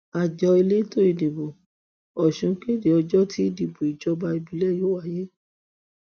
àjọ elétò ìdìbò ọsùn kéde ọjọ tí ìdìbò ìjọba ìbílẹ yóò wáyé